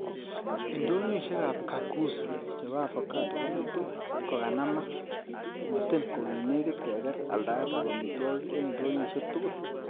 Indoyoisiek ab kakuzi chebo avocado kongetu kokanamak, motin kokinekit keker aldaet ab amitwogik en indoyoisiek tugul.